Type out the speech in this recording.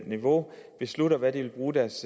niveau beslutter hvad de vil bruge deres